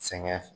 Sɛgɛn